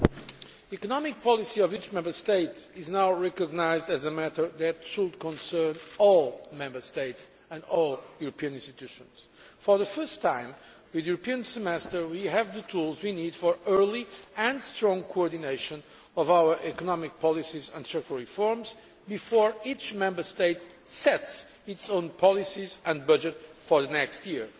The economic policy of each Member State is now recognised as a matter that should concern all Member States and all European institutions. For the first time with the European Semester we have the tools we need for early and strong coordination of our economic policies and structural reforms, before each Member State sets its own policies and budget for the next year.